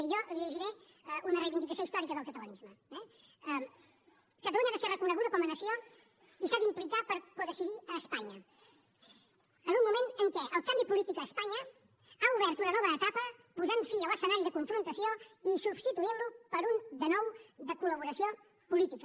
miri jo li dirigiré una reivindicació històrica del catalanisme eh catalunya ha de ser reconeguda com a nació i s’ha d’implicar per codecidir a espanya en un moment en què el canvi polític a espanya ha obert una nova etapa posant fi a l’escenari de confrontació i substituint lo per un de nou de col·laboració política